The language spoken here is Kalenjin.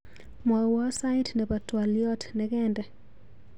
Mwawa sait nebo twaliot nekende.